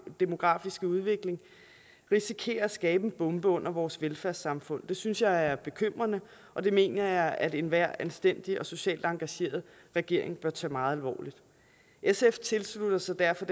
demografiske udvikling risikerer at skabe en bombe under vores velfærdssamfund det synes jeg er bekymrende og det mener jeg at enhver anstændig og socialt engageret regering bør tage meget alvorligt sf tilslutter sig derfor